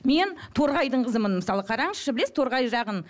мен торғайдың қызымен мысалы қараңызшы білесіз торғай жағын